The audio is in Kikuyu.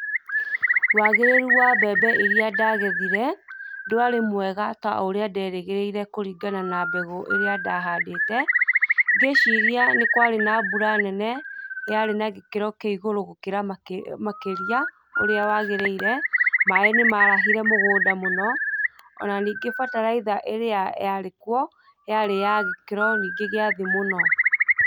Wagĩrĩrũ wa mbembe irĩa ndagethĩre, ndwarĩ mwega ũrĩa nderĩgĩrĩire kũrĩngana na mbegũ ĩrĩa ndahandĩte, gĩciria nĩ kwarĩ na mbura nene, yarĩ nagĩkĩro kĩa ĩgũrũ gũkĩra makĩria ũrĩa yagĩrĩire maĩ nĩ marahĩre mũgũnda mũno, ona ningĩ bataraitha ĩrĩa yarĩ kũo yarĩ ya gĩkĩro ningĩ gĩa thĩ mũno.